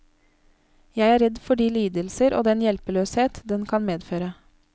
Jeg er redd for de lidelser og den hjelpeløshet den kan medføre.